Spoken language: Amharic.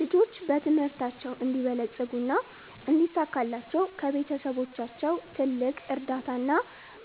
ልጆች በትምህርታቸው እንዲበለጽጉ እና እንዲሳካላቸው ከቤተሰቦቻቸው ትልቅ እርዳታ እና